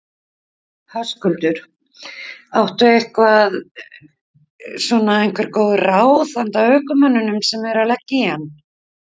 Höskuldur: Áttu eitthvað svona einhver góð ráð handa ökumönnum sem eru að leggja í hann?